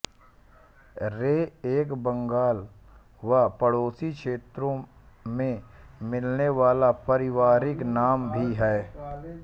रे एक बंगाल व पड़ोसी क्षेत्रों में मिलने वाला पारिवारिक नाम भी है